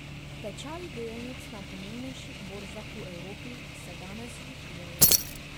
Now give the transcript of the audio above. Tečaji delnic na pomembnejših borzah v Evropi se danes zvišujejo.